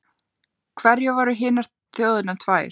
Hverjar voru hinar þjóðirnar tvær?